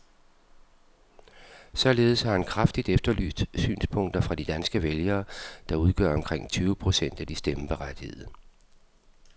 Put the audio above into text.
Således har han kraftigt efterlyst synspunkter fra de danske vælgere, der udgør omkring tyve procent af de stemmeberettigede.